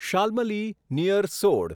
Shalmali near સોડ